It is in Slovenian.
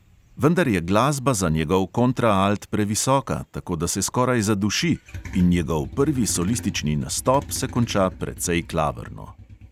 Vendar je glasba za njegov kontraalt previsoka, tako da se skoraj zaduši in njegov prvi solistični nastop se konča precej klavrno.